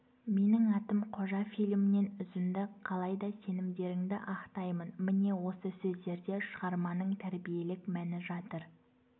менің атым қожа фильмінен үзінді қалай да сенімдеріңді ақтаймын міне осы сөздерде шығарманың тәрбиелік мәні жатыр